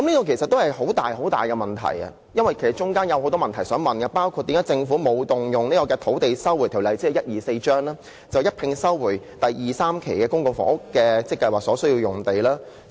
這涉及很大的問題，大家亦有很多問題想問，包括為何政府沒有動用《收回土地條例》，一併收回第2、3期發展計劃所需的房屋用地？